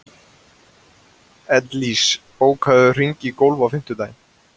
Ellís, bókaðu hring í golf á fimmtudaginn.